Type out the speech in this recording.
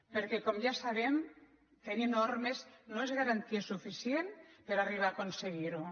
perquè com ja sabem tenir normes no és garantia su·ficient per arribar a aconseguir·ho